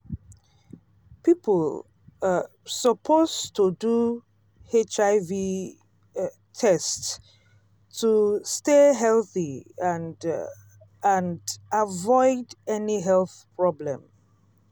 people um suppose to do hiv test to stay healthy and um and avoid any health problem